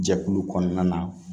Jɛkulu kɔnɔna na